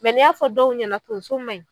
ni y'a fɔ dɔw ɲɛna tonso man ɲi